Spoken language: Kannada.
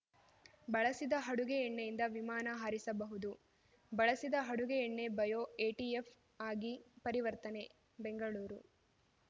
ಬಳಸಿದ ಅಡುಗೆ ಎಣ್ಣೆಯಿಂದ ವಿಮಾನ ಹಾರಿಸಬಹುದು ಬಳಸಿದ ಅಡುಗೆ ಎಣ್ಣೆ ಬಯೋ ಎಟಿಎಫ್‌ ಆಗಿ ಪರಿವರ್ತನೆ ಬೆಂಗಳೂರು